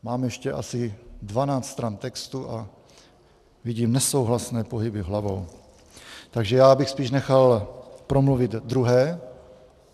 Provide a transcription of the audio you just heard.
Mám ještě asi dvanáct stran textu a vidím nesouhlasné pohyby hlavou, takže já bych spíš nechal promluvit druhé.